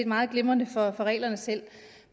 meget glimrende for reglerne selv